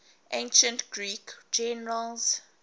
ancient greek generals